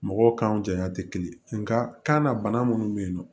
Mɔgɔw kanw jaɲa tɛ kelen nka kan na bana minnu bɛ yen nɔ